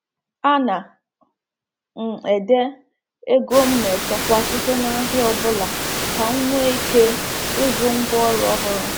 A na m ede ego m na-echekwa site na ahịa ọ bụla ka m nwee ike ịzụ ngwá ọrụ ọhụrụ.